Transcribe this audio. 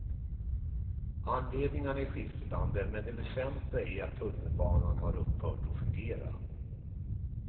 Anledningarna är skiftande, men det väsentliga är att tunnelbanan har upphört att fungera.